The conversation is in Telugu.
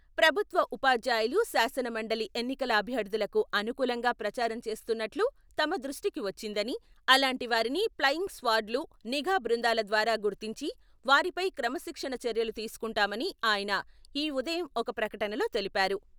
ప్రభుత్వ ఉపాధ్యాయులు శాసనమండలి ఎన్నికల అభ్యర్థులకు అనుకూలంగా ప్రచారం చేస్తున్నట్లు తమ దృష్టికి వచ్చిందని, అలాంటి వారిని ప్లయింగ్ స్క్వాడ్లు, నిఘా బృందాల ద్వారా గుర్తించి, వారిపై క్రమశిక్షణ చర్యలు తీసుకుంటామని ఆయన ఈ ఉ దయం ఒక ప్రకటనలో తెలిపారు.